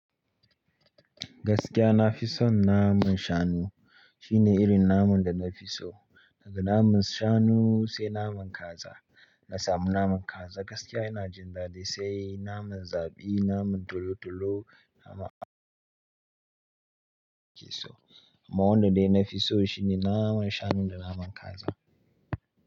Gaskiya na fi son naman shanu. Shine irin naman da na fi so. Daga naman shanu sai naman kaza. Na samu naman kaza gaskiya ina jin daɗi sai naman zabi, naman tolo tolo, nama keso. Amma wanda dai na fi so shine naman shanu da naman kaza.